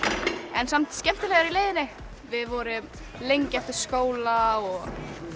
en samt skemmtilegur í leiðinni við vorum lengi eftir skóla og